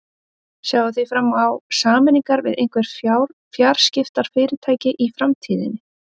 Sjáið þið fram á sameiningar við einhver fjarskiptafyrirtæki í framtíðinni?